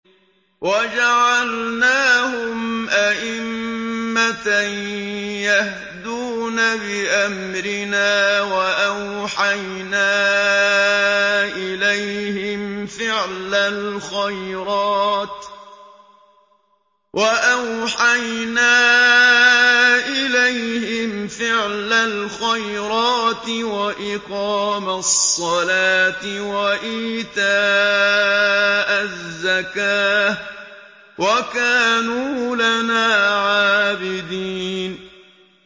وَجَعَلْنَاهُمْ أَئِمَّةً يَهْدُونَ بِأَمْرِنَا وَأَوْحَيْنَا إِلَيْهِمْ فِعْلَ الْخَيْرَاتِ وَإِقَامَ الصَّلَاةِ وَإِيتَاءَ الزَّكَاةِ ۖ وَكَانُوا لَنَا عَابِدِينَ